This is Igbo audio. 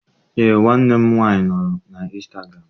Eé, nwanne m nwaanyị nọ na instagụram.